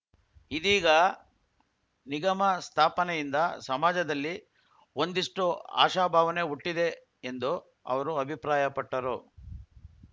ಇದೀಗ ನಿಗಮ ಸ್ಥಾಪನೆಯಿಂದ ಸಮಾಜದಲ್ಲಿ ಒಂದಿಷ್ಟುಆಶಾಭಾವನೆ ಹುಟ್ಟಿದೆ ಎಂದು ಅವರು ಅಭಿಪ್ರಾಯಪಟ್ಟರು